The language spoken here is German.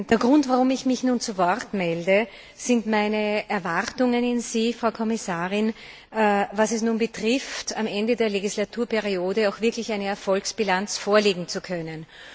Der Grund, warum ich mich nun zu Wort melde, sind meine Erwartungen an Sie, Frau Kommissarin, in Bezug darauf, am Ende der Legislaturperiode auch wirklich eine Erfolgsbilanz vorlegen zu können.